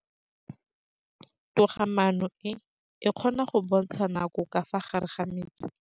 Toga-maanô e, e kgona go bontsha nakô ka fa gare ga metsi.